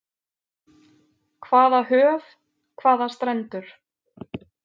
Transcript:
Hvaða höf, hvaða strendur.